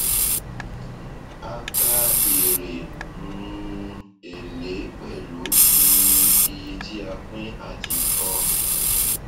a kà èrè um èlé pẹlú um iye tí a pín àti tọ